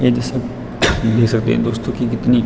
ये दृश्य देख सकते है दोस्तों की कितनी --